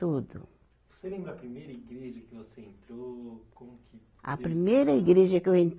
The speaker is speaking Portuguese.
Tudo. Você lembra a primeira igreja que você entrou como que? A primeira igreja que eu entrei